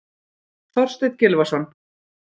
Þorsteinn Gylfason.